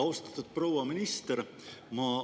Austatud proua minister!